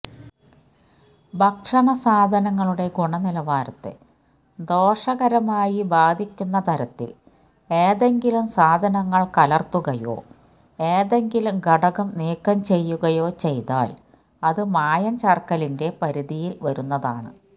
ഭക്ഷണസാധനങ്ങളുടെ ഗുണനിലവാരത്തെ ദോഷകരമായി ബാധിക്കുന്നതരത്തില് ഏതെങ്കിലും സാധനങ്ങള് കലര്ത്തുകയോ ഏതെങ്കിലും ഘടകം നീക്കംചെയ്യുകയോ ചെയ്താല് അത് മായംചേര്ക്കലിന്റെ പരിധിയില് വരുന്നതാണ്